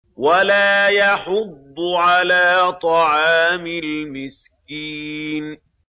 وَلَا يَحُضُّ عَلَىٰ طَعَامِ الْمِسْكِينِ